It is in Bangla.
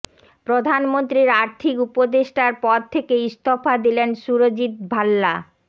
প্রধানমন্ত্রীর আর্থিক উপদেষ্টার পদ থেকে ইস্তফা দিলেন সুরজিত্ ভাল্লা